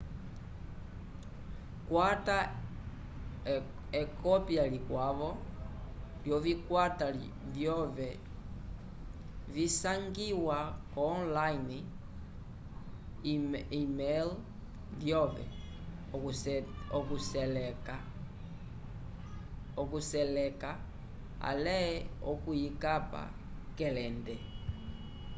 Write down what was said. kwata ekopya likwavo lyovikwata vyove visangiwa online e-mail lyove okuseleka ale okuyikapa k’elende